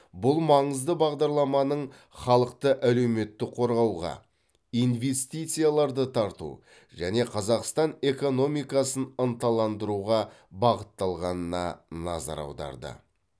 ұл маңызды бағдарламаның халықты әлеуметтік қорғауға инвестицияларды тарту және қазақстан экономикасын ынталандыруға бағытталғанына назар аударды